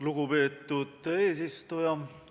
Lugupeetud eesistuja!